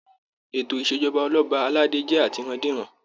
Ètò ìṣèjọba Ọlọba aládé jẹ atirandiran.